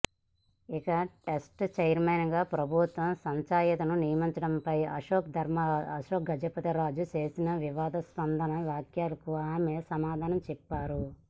ఇక trust chairman గా ప్రభుత్వం సంచయితను నియమించడంపై అశోక్ గజపతిరాజు చేసిన వివాదాస్పద వ్యాఖ్యలకు ఆమె సమాధానం చెప్పారు